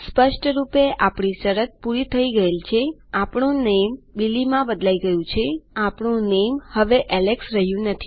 સ્પષ્ટરૂપે આપણી શરત પૂરી થઈ ગયેલ છેઆપણું નામે બિલી માં બદલાઈ ગયું છેઆપણું નામે હવે એલેક્સ રહ્યું નથી